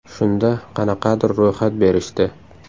Shunda qanaqadir ro‘yxat berishdi.